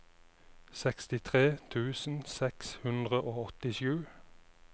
sekstitre tusen seks hundre og åttisju